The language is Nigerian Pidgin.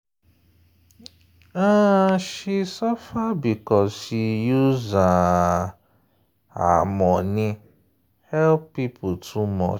um she suffer because she use um her money help people too much.